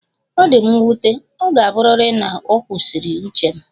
Ọ dị m nwute, ọ ga-abụrịrị na ọ kwụsịrị uche m